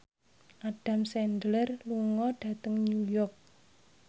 Adam Sandler lunga dhateng New York